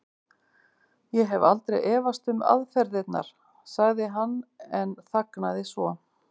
Ég hef aldrei efast um aðferðirnar. sagði hann en þagnaði svo.